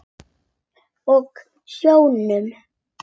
Og sjónum.